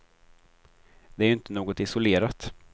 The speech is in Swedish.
Det är ju inte något isolerat.